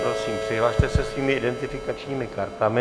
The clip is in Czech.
Prosím přihlaste se svými identifikačními kartami.